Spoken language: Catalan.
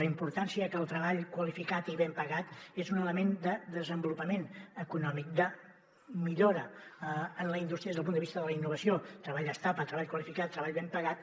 la importància que el treball qualificat i ben pagat és un element de desenvolupament econòmic de millora en la indústria des del punt de vista de la innovació treball estable treball qualificat treball ben pagat